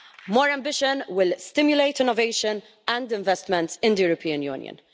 More ambition will stimulate innovation and investment in the European Union.